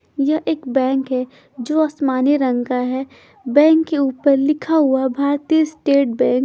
यह एक बैंक है जो आसमानी रंग का है बैंक के ऊपर लिखा हुआ भारतीय स्टेट बैंक ।